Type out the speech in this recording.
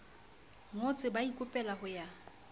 ngotse ba ikopela ho ya